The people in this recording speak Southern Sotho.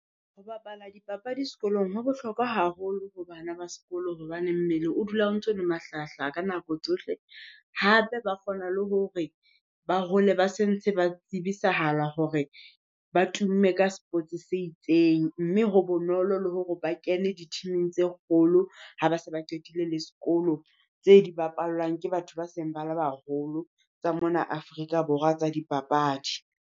Ho bapala dipapadi sekolong ho bohlokwa haholo ho bana ba sekolo hobane mmele o dula o ntso le mahlahahlaha ka nako tsohle. Hape ba kgona le hore ba hole ba se ntse ba tsebisahala hore ba tumme ka sports se itseng, mme ho bonolo le hore ba kene di-team-ing tse kgolo ha ba se ba qetile le sekolo, tse di bapallwang ke batho ba seng ba le baholo tsa mona Afrika Borwa tsa dipapadi.